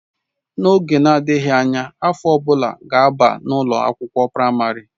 N'oge na-adịghị, afọ ọ bụla ga-aba na ụlọ akwụkwọ praịmarị.